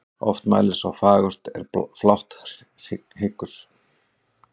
Oft mælir sá fagurt er flátt hyggur.